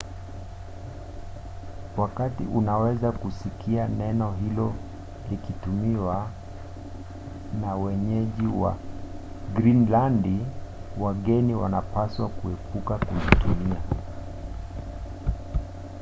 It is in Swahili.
wakati unaweza kusikia neno hilo likitumiwa na wenyeji wa grinilandi wageni wanapaswa kuepuka kulitumia